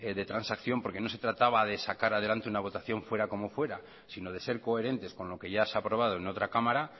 de transacción porque no se trataba de sacar adelante una votación fuera como fuera sino de ser coherentes con lo que ya se ha aprobado en otra cámara